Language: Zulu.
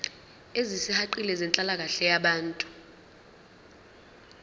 ezisihaqile zenhlalakahle yabantu